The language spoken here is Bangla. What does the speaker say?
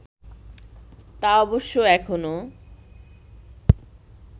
তা অবশ্য এখনও